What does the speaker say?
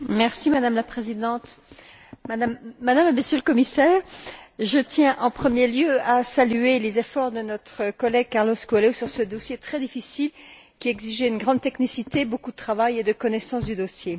Madame la Présidente, Madame et Monsieur les Commissaires, je tiens en premier lieu à saluer les efforts de notre collègue Carlos Coelho sur ce dossier très difficile qui a exigé une grande technicité, beaucoup de travail et de connaissance du dossier.